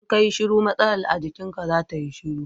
Idan ka yi shiru matsalar a jikinka za ta yi shiru.